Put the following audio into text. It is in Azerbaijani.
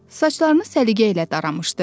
Saçlarını səliqə ilə daramışdı.